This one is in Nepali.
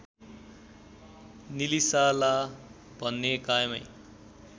निलिशाला भन्ने कायमै